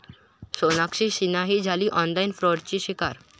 सोनाक्षी सिन्हाही झाली आॅनलाइन फ्राॅडची शिकार